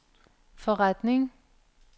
forretning